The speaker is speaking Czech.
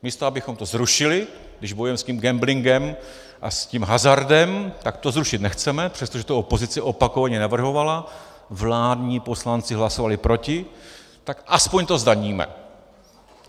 Místo abychom to zrušili, když bojujeme s tím gamblingem a s tím hazardem, tak to zrušit nechceme, přestože to opozice opakovaně navrhovala, vládní poslanci hlasovali proti, tak aspoň to zdaníme.